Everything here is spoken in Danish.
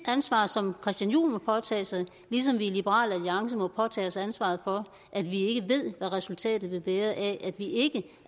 ansvar som christian juhl må påtage sig ligesom vi i liberal alliance må påtage os ansvaret for at vi ikke ved hvad resultatet vil være af at vi ikke